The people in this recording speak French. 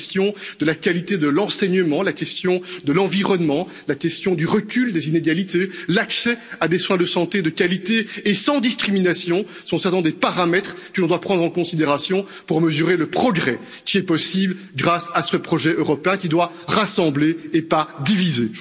La question de la qualité de l'enseignement, la question de l'environnement, la question du recul des inégalités, l'accès à des soins de santé de qualité et sans discrimination sont certainement des paramètres que nous devons prendre en considération pour mesurer le progrès qui est possible grâce à ce projet européen qui doit rassembler et non diviser.